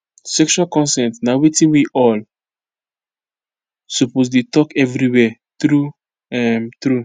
sexual consent na watin we all suppose dey talk everywhere true um true